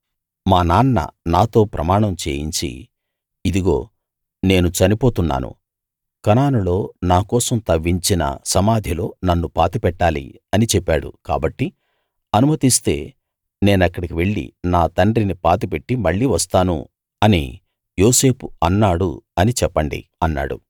మా నాన్న నాతో ప్రమాణం చేయించి ఇదిగో నేను చనిపోతున్నాను కనానులో నా కోసం తవ్వించిన సమాధిలో నన్ను పాతిపెట్టాలి అని చెప్పాడు కాబట్టి అనుమతిస్తే నేనక్కడికి వెళ్ళి నా తండ్రిని పాతిపెట్టి మళ్ళీ వస్తాను అని యోసేపు అన్నాడు అని చెప్పండి అన్నాడు